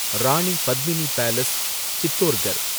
Rani Padmini palace , Chittorgarh